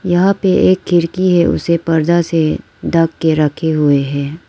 यहां पे एक खिड़की है उसे पर्दा से ढक के रखे हुए हैं।